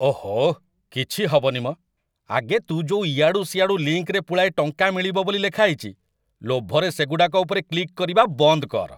ଓହୋଃ, କିଛି ହବନି ମ, ଆଗେ ତୁ ଯୋଉ ଇଆଡ଼ୁ ସିଆଡ଼ୁ ଲିଙ୍କ୍‌ରେ ପୁଳାଏ ଟଙ୍କା ମିଳିବ ବୋଲି ଲେଖାହେଇଚି, ଲୋଭରେ ସେଗୁଡ଼ାକ ଉପରେ କ୍ଲିକ୍‌ କରିବା ବନ୍ଦ କର!